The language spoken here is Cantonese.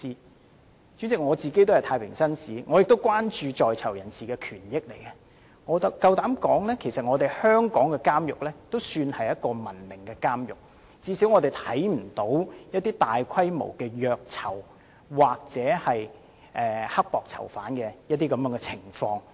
代理主席，我身為太平紳士，也關注到在囚人士的權益，我敢說，其實香港的監獄管理已是相當文明的了，至少從未發生過大規模的虐囚或苛待囚犯的情況。